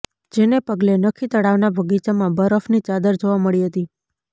જેને પગલે નખી તળાવના બગીચામાં બરફની ચાદર જોવા મળી હતી